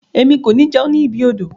Emi ko ni jẹun ni ibi odò.